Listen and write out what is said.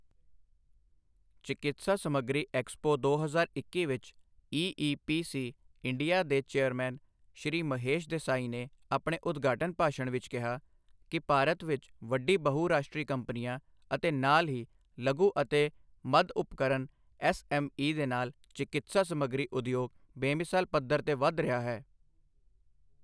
ਚਿਕਿਤਸਾ ਸਮੱਗਰੀ ਐਕਸਪੋ ਦੋ ਹਜ਼ਾਰ ਇੱਕੀ ਵਿੱਚ ਈ.ਈ.ਪੀ.ਸੀ. ਇੰਡੀਆ ਦੇ ਚੇਅਰਰਮੈਨ ਸ਼੍ਰੀ ਮਹੇਸ਼ ਦੇਸਾਈ ਨੇ ਆਪਣੇ ਉਦਘਾਟਨ ਭਾਸ਼ਣ ਵਿੱਚ ਕਿਹਾ ਕਿ ਭਾਰਤ ਵਿੱਚ ਵੱਡੀ ਬਹੁਰਾਸ਼ਟਰੀ ਕੰਪਨੀਆਂ ਅਤੇ ਨਾਲ ਹੀ ਲਘੂ ਅਤੇ ਮੱਧ ਉਪਕਰਮ ਐਸਅੇਮਈ ਦੇ ਨਾਲ ਚਿਕਿਤਸਾ ਸਮੱਗਰੀ ਉਦਯੋਗ ਬੇਮਿਸਾਲ ਪੱਧਰ ਤੇ ਵੱਧ ਰਿਹਾ ਹੈ।